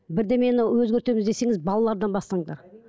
бірдемені өзгертеміз десеңіз балалардан бастаңдар